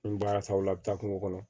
N baara taaw la a bɛ taa kungo kɔnɔ